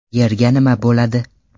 Yerga nima bo‘ladi?.